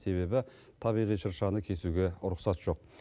себебі табиғи шыршаны кесуге рұқсат жоқ